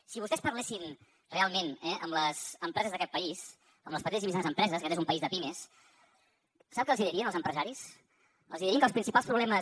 si vostès parlessin realment eh amb les empreses d’aquest país amb les petites i mitjanes empreses aquest és un país de pimes sap què els dirien els empresaris els dirien que els principals problemes